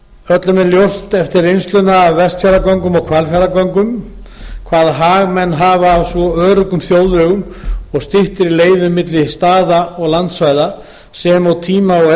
ljóst eftir reynsluna af vestfjarða og hvalfjarðargöngum hvaða hag menn hafa af svo öruggum þjóðvegum styttri leiðum milli staða og landsvæða sem og tíma og